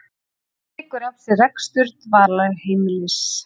Tekur að sér rekstur dvalarheimilis